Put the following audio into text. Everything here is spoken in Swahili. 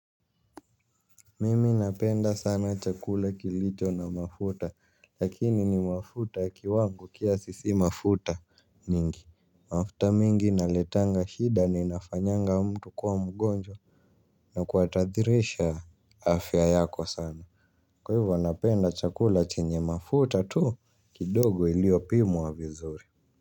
Mimi napenda sana chakula kilicho na mafuta, lakini ni mafuta kiwango kiasi si mafuta mingi. Mafuta mingi inaletanga shida na inafanyanga mtu kuwa mgonjwa. Na kutahadharisha afya yako sana. Kwa hivyo napenda chakula chenye mafuta kidogo tu yaliyopimwa vizuri.